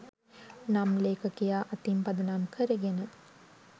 නම් ලේඛකයා අතින් පදනම් කරගෙන